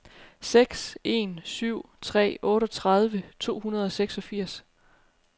seks en syv tre otteogtredive to hundrede og seksogfirs